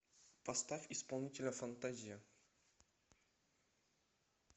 поставь исполнителя фантазия